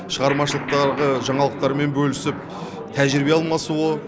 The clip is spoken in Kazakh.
шығармашылық жаңалықтармен бөлісіп тәжірибе алмасуы